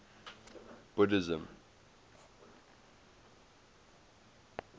buddhism